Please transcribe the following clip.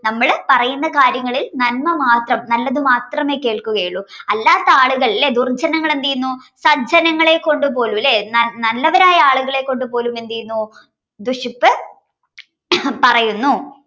നമ്മള് പറയുന്ന കാര്യങ്ങളിൽ നന്മ മാത്രം നല്ലത് മാത്രമേ കേൾക്കുകയുള്ളൂ അല്ലാത്തയാളുകൾ ലെ ദുർജ്ജനങ്ങൾ എന്തെയ്യുന്നു സജ്ജനങ്ങളെ കൊണ്ടുപോലും ലേ നൽനല്ലവരായ ആളുകളെ കൊണ്ടുപോലും എന്തെയ്യുന്നു ദുഷിപ്പ് ഹും പറയുന്നു